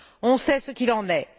On sait ce qu'il en est.